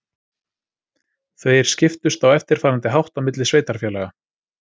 Þeir skiptust á eftirfarandi hátt á milli sveitarfélaga: